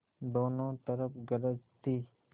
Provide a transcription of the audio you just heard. दोनों तरफ गरज थी